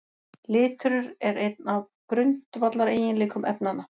Litur er einn af grundvallareiginleikum efnanna.